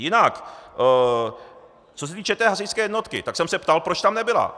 Jinak co se týče té hasičské jednotky, tak jsem se ptal, proč tam nebyla.